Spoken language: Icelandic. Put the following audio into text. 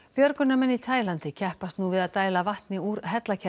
björgunarmenn í Taílandi keppast nú við að dæla vatni úr